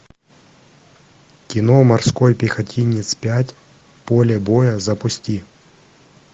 кино морской пехотинец пять поле боя запусти